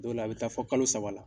Dɔw la a bi taa fo kalo saba la.